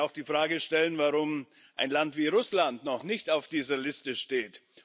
Man kann sich auch die Frage stellen, warum ein Land wie Russland noch nicht auf dieser Liste steht.